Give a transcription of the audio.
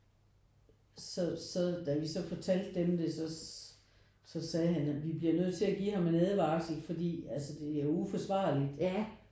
Så så da vi så fortalte dem det så så sagde han at vi bliver nødt til at give ham en advarsel fordi altså det er jo uforsvarligt